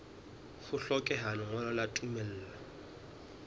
ho hlokeha lengolo la tumello